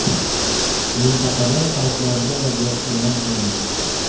Mintaqada favqulodda vaziyat e’lon qilindi.